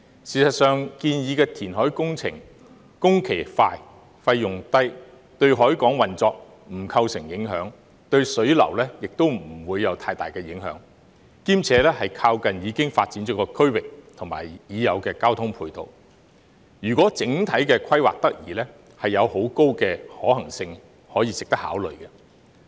事實上，建議的填海工程工期快、費用低，對海港運作不構成影響，對水流亦不會有太大的影響，兼且靠近已發展的區域和已有的交通配套，如果整體規劃得宜，便有很高的可行性，值得考慮。